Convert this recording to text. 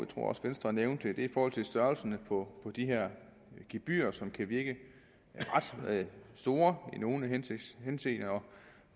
tror også venstre nævnte i forhold til størrelsen på de her gebyrer som kan virke ret store i nogle henseender